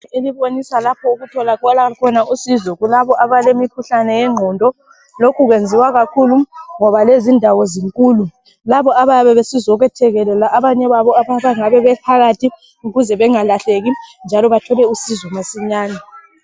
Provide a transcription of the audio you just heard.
Elibonisa lapho okutholakala khona usizo kulabo abalemikhuhlani yengqondo lokhu kwenziwa kakhulu ngoba lezindawo zinkulu labo abayabe besizokwethekelela abanye babo abangabe bephakathi ukuze bengalahleki njalo bathole usizo masinyani.